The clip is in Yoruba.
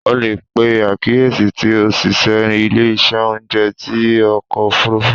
O le pe akiyesi ti oṣiṣẹ ile-iṣẹ ounjẹ ti ọkọ ofurufu